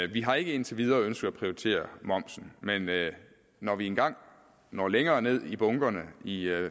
vi har ikke indtil videre ønsket at prioritere momsen men når vi engang når længere ned i bunkerne i